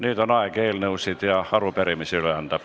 Nüüd on aeg üle anda eelnõusid ja arupärimisi.